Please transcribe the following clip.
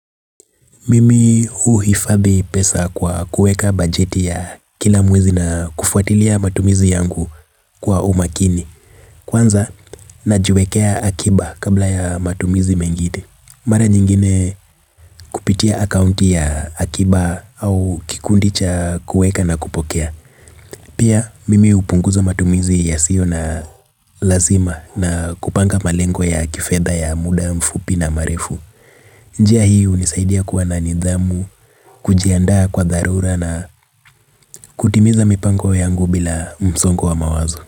Mimi huhifadhi pesa kwa kuweka bajeti ya kila mwezi na kufuatilia matumizi yangu kwa umakini. Kwanza najiwekea akiba kabla ya matumizi mengine. Mara nyingine kupitia akaunti ya akiba au kikundi cha kuweka na kupokea. Pia mimi hupunguza matumizi yasiyo na lazima na kupanga malengo ya kifedha ya muda mfupi na marefu. Njia hii hunisaidia kuwa na nidhamu, kujiandaa kwa dharura na kutimiza mipango yangu bila msongo wa mawazo.